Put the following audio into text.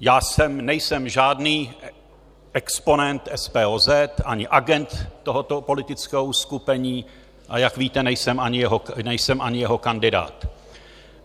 Já nejsem žádný exponent SPOZ ani agent tohoto politického uskupení, a jak víte, nejsem ani jeho kandidát.